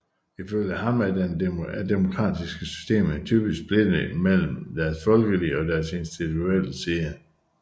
Ifølge ham er demokratiske systemer typisk splittet imellem deres folkelige og deres institutionelle side